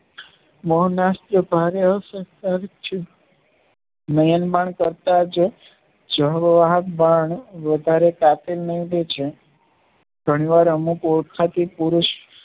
Myanmar કરતા જ જાહેવા ગત બાણ વધારે કાપે નહિ તો સુ પાર્વણ અને પોલખાતી પુરુષ